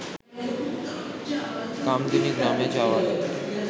কামদুনি গ্রামে যাওয়ার